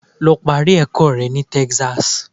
Lọ parí ẹ̀kọ́ rẹ ní Texas.